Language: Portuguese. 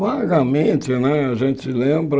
Vagamente né, a gente lembra...